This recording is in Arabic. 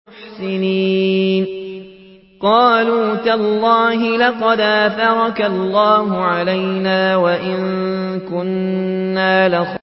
قَالُوا تَاللَّهِ لَقَدْ آثَرَكَ اللَّهُ عَلَيْنَا وَإِن كُنَّا لَخَاطِئِينَ